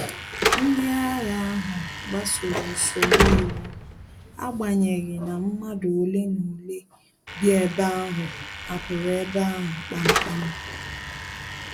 Ndị agha ahu gbasoro usoro iwu, agbanyeghi na madu ole na ole bi ebe ahụ hapụrụ ebe ahu kpam kpam